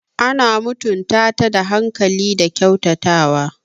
Ana mutunta ta da hankali da kyautatawa.